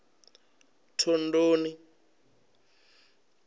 thondoni